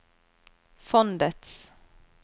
fondets